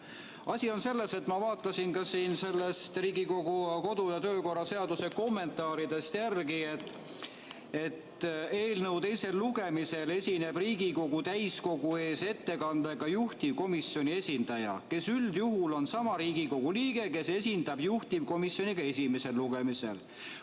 Asi on selles, et ma vaatasin Riigikogu kodu- ja töökorra seaduse kommentaaridest järele, et eelnõu teisel lugemisel esineb Riigikogu täiskogu ees ettekandega juhtivkomisjoni esindaja, kes üldjuhul on seesama Riigikogu liige, kes esindas juhtivkomisjoni ka esimesel lugemisel.